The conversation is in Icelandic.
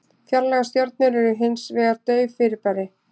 Fjarlægar stjörnur eru hins vegar dauf fyrirbæri.